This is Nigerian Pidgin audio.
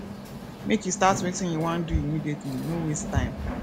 make you dey start wetin you wan do immediately no waste tme